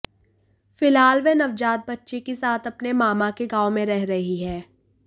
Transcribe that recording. फिलहाल वह नवजात बच्ची के साथ अपने मामा के गांव में रह रही है